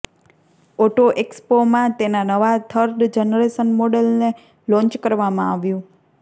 auto એક્સપોમાં તેના નવા થર્ડ જનરેશન મોડલને લોન્ચ કરવામાં આવ્યું